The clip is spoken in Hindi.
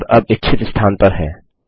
टैब अब इच्छित स्थान पर है